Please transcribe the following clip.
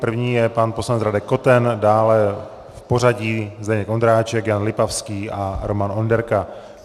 První je pan poslanec Radek Koten, dále v pořadí Zdeněk Ondráček, Jan Lipavský a Roman Onderka.